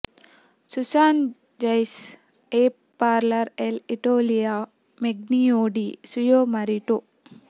Susan Rice ಎ ಪಾರ್ಲರ್ ಎಲ್ ಇಟಲಿಯೋ ಮೆಗ್ಲಿಯೊ ಡಿ ಸುಯೋ ಮರಿಟೊ